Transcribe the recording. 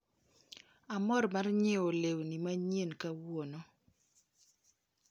Amor mar nyiewo lewni manyien kawuono.